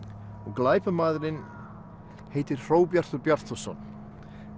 glæpamaðurinn heitir Hróbjartur Bjartarson